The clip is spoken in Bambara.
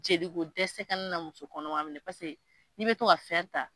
Jeliko dɛsɛ kana na musokɔnɔma minɛ n'i bɛ to ka ta.